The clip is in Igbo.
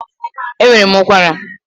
Ee, enwere m ụkwara